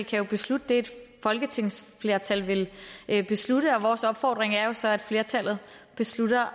kan beslutte det et folketingsflertal vil beslutte og vores opfordring er jo så at flertallet beslutter